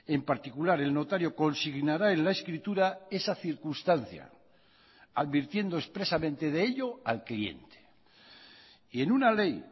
en particular el notario consignará en la escritura esa circunstancia advirtiendo expresamente de ello al cliente y en una ley